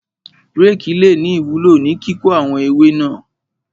Rékì le ní ìwúló ní kíkó àwọn ewé náà.